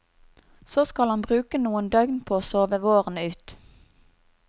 Så skal han bruke noen døgn på å sove våren ut.